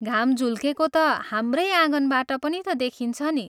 घाम झुल्केको ता हाम्रै आँगनबाट पनि ता देखिन्छ नि!